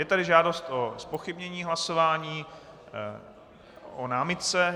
Je tady žádost o zpochybnění hlasování o námitce.